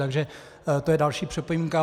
Takže to je další připomínka.